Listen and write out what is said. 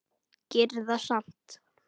Gerir það samt.